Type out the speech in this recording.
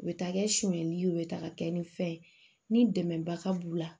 U bɛ taa kɛ sonyɛli ye u bɛ taa ka kɛ ni fɛn ye ni dɛmɛbaga b'u la